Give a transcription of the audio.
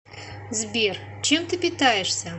сбер чем ты питаешься